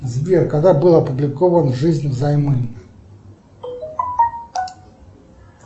сбер когда был опубликован жизнь взаймы